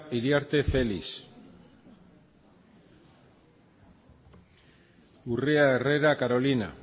iriarte felix urrea herrera diana carolina